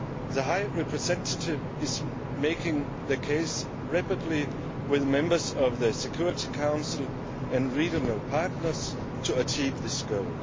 The High Representative is making the case rapidly with members of the Security Council and regional partners to achieve this goal.